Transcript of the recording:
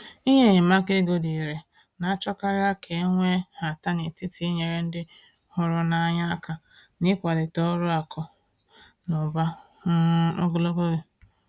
Inye enyemaka ego dị irè na-achọkarị ka e nwee nhata n’etiti inyere ndị hụrụ n’anya aka na ịkwalite ọrụ akụ na ụba um ogologo oge.